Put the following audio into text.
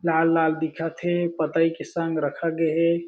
लाल-लाल दिखत हे पतही के संग रखे गए हें।